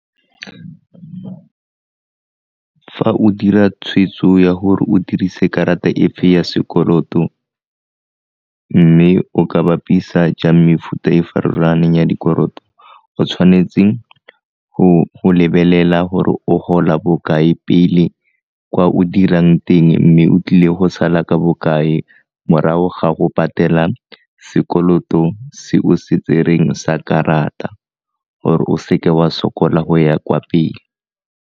Fa o dira tshweetso ya gore o dirise karata efe ya sekoloto mme o ka bapisa jang mefuta e farologaneng ya dikoloto, o tshwanetse go lebelela gore o gola bokae pele kwa o dirang teng mme o tlile go sala ka bokae morago ga go patela sekoloto se o se tsereng sa karata gore o seke wa sokola go ya kwa pele.